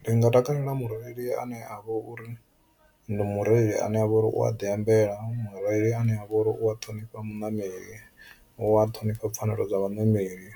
Ndi nga takalela mureili ane avha uri ndi mureili ane avha uri u a ḓi ambela, mureili ane avha uri u a ṱhonifha muṋameli u a ṱhonifha pfhanelo dza vhaṋameli